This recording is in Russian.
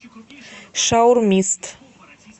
шаурмист